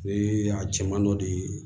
Bee a cɛman dɔ de ye